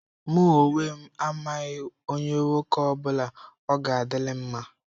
Mụ onwe m, amaghị onye nwoke ọ bụla ọ ga-adịlị mma.